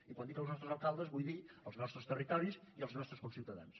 i quan dic els nostres alcaldes vull dir els nostres territoris i els nostres conciutadans